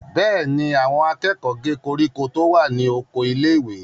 Bẹ́ẹ̀ ni, àwọn akẹ́kọ̀ọ́ gé koríko tó wà ní oko ilé-ìwé.